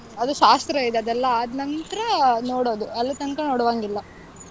ಅದು ಶಾಸ್ತ್ರ ಇದೆ, ಅದೆಲ್ಲಾ ಆದ್ ನಂತ್ರ ನೋಡೋದು. ಅಲ್ಲಿ ತನ್ಕ ನೋಡು ಹಂಗಿಲ್ಲ.